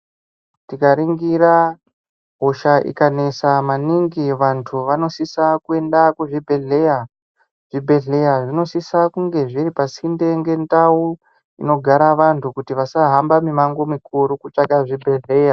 Tikaringira, hosha ikanetsa maningi vantu vanosisa kuenda kuzvibhedhlera, zvibhedhlera zvinosisa kunge zviri pasi ndenge ndau inogsra vantu kuti vasahamba nemange mukuru kutsvaka zvibhedhlera.